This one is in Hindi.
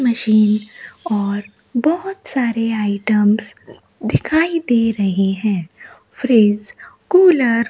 मशीन और बहुत सारे आइटम्स दिखाई दे रहे हैं फ्रिज कूलर --